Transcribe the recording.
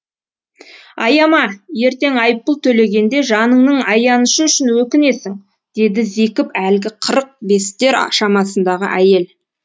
аяма ертең айыппұл төлегенде жаныңның аянышы үшін өкінесің деді зекіп әлгі қырық бестер шамасындағы әйел